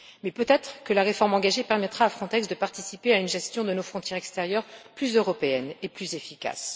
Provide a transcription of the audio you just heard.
Mais peut être que la réforme engagée permettra à Frontex de participer à une gestion de nos frontières extérieures plus européenne et plus efficace.